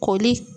Koli